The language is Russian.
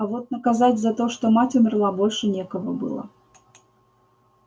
а вот наказать за то что мать умерла больше некого было